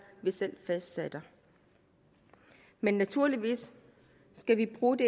vi selv fastsætter men naturligvis skal vi bruge de